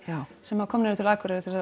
sem komnir eru til Akureyrar